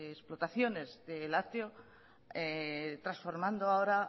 explotaciones de los lácteos transformando ahora